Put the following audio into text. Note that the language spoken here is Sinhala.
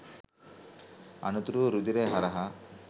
අනතුරුව රුධිරය හරහා